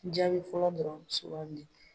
Jaabi fɔlɔ dɔrɔnw sugandi.